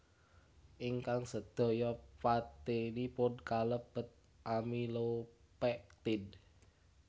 Ingkang sedaya patinipun kalebet amilopektin